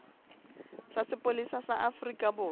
sa sepolesa sa afrika borwa